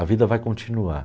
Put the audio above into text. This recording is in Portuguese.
A vida vai continuar.